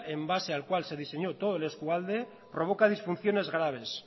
en base al cual se diseñó todo el eskualde provoca disfunciones graves